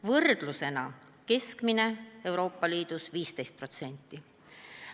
Võrdlusena: Euroopa Liidu keskmine on 15%.